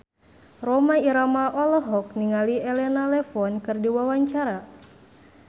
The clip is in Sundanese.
Rhoma Irama olohok ningali Elena Levon keur diwawancara